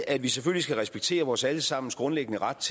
at vi selvfølgelig skal respektere vores alle sammens grundlæggende ret